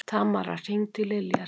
Tamara, hringdu í Liljar.